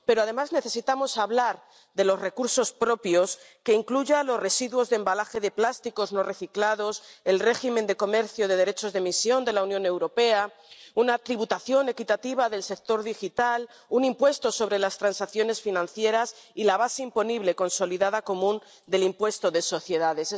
Pero además necesitamos hablar de los recursos propios que incluyan los residuos de embalaje de plásticos no reciclados, el régimen de comercio de derechos de emisión de la Unión Europea, una tributación equitativa del sector digital, un impuesto sobre las transacciones financieras y la base imponible consolidada común del impuesto de sociedades.